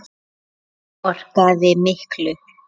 Hann áorkaði miklu.